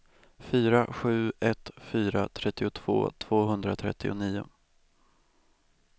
fyra sju ett fyra trettiotvå tvåhundratrettionio